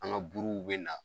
An ka buruw bɛ na.